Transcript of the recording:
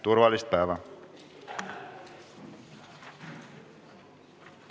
Turvalist päeva!